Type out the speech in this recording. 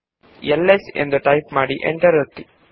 LS ಎಂದು type ಮಾಡಿ enter ಒತ್ತಿ